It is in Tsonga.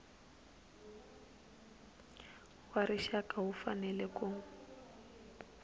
wa rixaka wu fanele ku